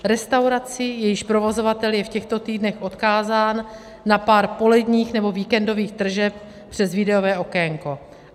Restauraci, jejíž provozovatel je v těchto týdnech odkázán na pár poledních nebo víkendových tržeb přes výdejové okénko.